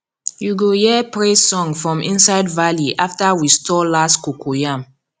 you go hear praise song from inside valley after we store last cocoyam